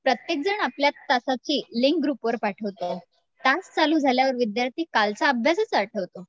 प्रत्येकजण आपल्या तासाची लिंक ग्रुपवर पाठवतं, तास चालू झाल्यावर विद्यार्थी कालचा अभ्यासच आठवतो.